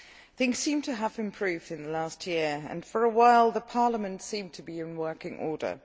Things seem to have improved in the last year, and for a while their parliament seemed to be in working order.